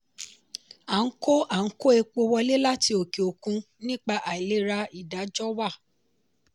a n kó a n kó epo wọlé láti òkè òkun nípa àìlera ìdájọ́wà.